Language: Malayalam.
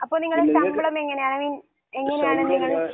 അപ്പോൾ നിങ്ങളുടെ ശമ്പളം എങ്ങനെയാണ്? ഐ മീൻ, എങ്ങനെയാണ് നിങ്ങൾ